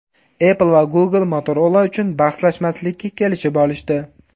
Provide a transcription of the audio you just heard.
Apple va Google Motorola uchun bahslashmaslikka kelishib olishdi.